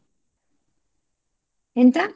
ಎಂತ?